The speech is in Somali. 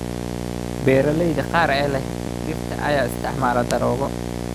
Beeralayda qaar ee leh dhirta ayaa isticmaala daroogo.